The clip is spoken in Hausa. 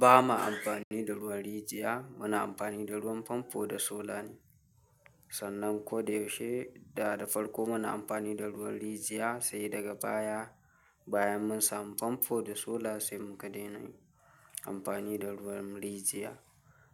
Ba ma amfani da ruwan rijiya, muna amfani da ruwan famfo da sola ne, sannan ko da yaushe, da da farko muna amfani da ruwan rijiya, sai daga baya, bayan mun samu famfo da sola sai muka daina amfani da ruwan rijiya.